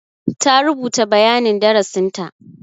Ta rubuta bayanin darasinta.